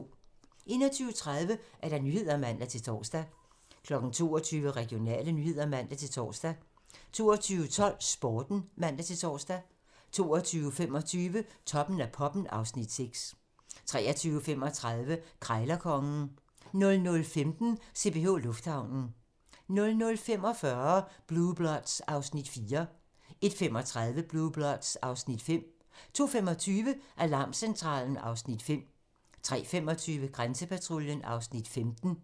21:30: Nyhederne (man-tor) 22:00: Regionale nyheder (man-tor) 22:12: Sporten (man-tor) 22:25: Toppen af poppen (Afs. 6) 23:35: Krejlerkongen 00:15: CPH Lufthavnen 00:45: Blue Bloods (Afs. 4) 01:35: Blue Bloods (Afs. 5) 02:25: Alarmcentralen (Afs. 5) 03:25: Grænsepatruljen (Afs. 15)